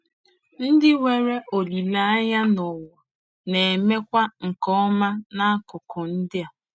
Ndị nwere olileanya n'ụwa na-emekwa nke ọma n'akụkụ ndị a.